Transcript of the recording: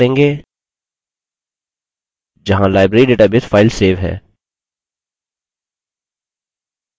हम windows directory browse करेंगे जहाँ library database फाइल सेव है